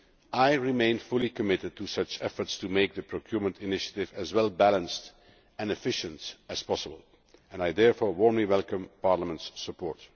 I remain fully committed to such efforts to make the procurement initiative as well balanced and efficient as possible, and I therefore warmly welcome Parliament's support.